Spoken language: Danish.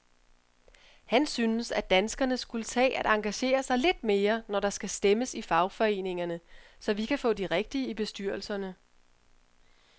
Han synes, at danskerne skulle tage at engagere sig lidt mere, når der skal stemmes i fagforeningerne, så vi kan få de rigtige i bestyrelserne.